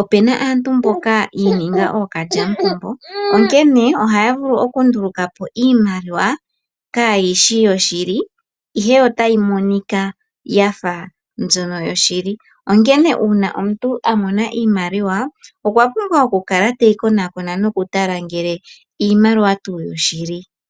opu na aantu mboka yi ininga ookalyamupombo, onkene ohaya vulu okundulaka po iimaliwa kaayi shi yoshili, ihe otayi monika ya fa mbyono yoshili. Onkene Uuna omuntu a mona iimaliwa, okwa pumbwa okukala teyi konakona nokutala ngele iimaliwa tuu yoshili.